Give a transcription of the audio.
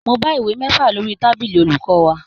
Mo bá ìwé mẹ́fà lórí tábìlì olùkọ́ wa